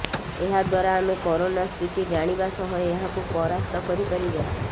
ଏହାଦ୍ୱାରା ଆମେ କରୋନା ସ୍ଥିତି ଜାଣିବା ସହ ଏହାକୁ ପରାସ୍ତ କରିପାରିବା